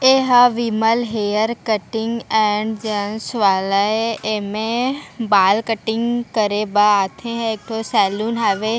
एहाँ Vimal hair cutting and gents वाले एमे बाल कटिंग करे बा आथे एक ठो सैलून हवे।